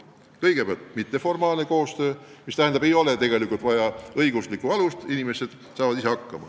Kõigepealt, mitteformaalne koostöö, mis tähendab, et selleks ei ole vaja õiguslikku alust, inimesed saavad ise hakkama.